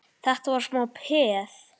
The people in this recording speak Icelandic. Þetta var smá peð!